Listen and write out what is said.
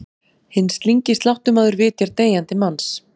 Hinn slyngi sláttumaður vitjar deyjandi manns.